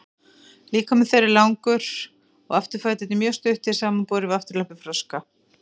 líkami þeirra er langur og afturfæturnir eru mjög stuttir samanborið við afturlappir froska